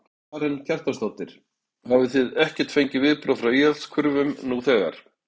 Karen Kjartansdóttir: Hafið þið ekkert fengið viðbrögð frá íhaldskurfum nú þegar?